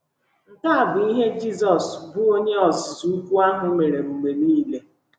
Nke a bụ ihe Jizọs, bụ́ Onye Ozizi Ukwu ahụ, mere mgbe nile.